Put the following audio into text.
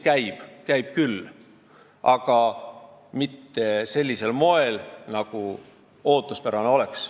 Käib küll, aga mitte sellisel moel, nagu oleks ootuspärane.